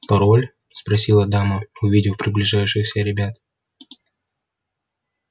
пароль спросила дама увидев приближающихся ребят